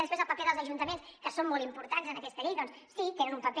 després el paper dels ajuntaments que són molt importants en aquesta llei doncs sí hi tenen un paper